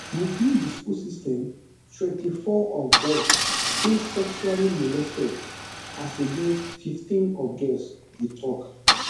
within di school system twenty-four of boys dey sexually molested as against fifteen of girls e tok